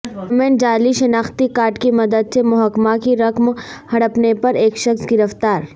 government جعلی شناختی card کی مدد سے محکمہ کی رقم ہڑپنے پر ایک شخص گرفتار